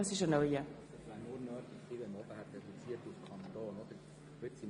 Das ist ein Antrag der SiKMinderheit.